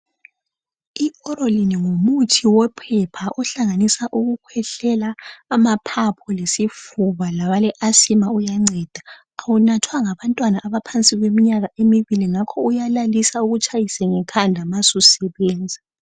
IOrolin ngumuthi wophepha ohlanganisa ukukhwehlela , amaphaphu lesifuba labaleasima uyanceda. Awunathwa ngabantwana abaleminyaka ephansi kwemibili ngakho uyalalisa ukutshayise ngekhanda nxa susebenza.